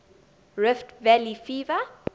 rift valley fever